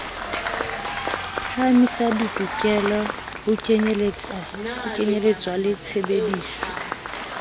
phahamisa ditokelo ho kenyeletswa tshebdiso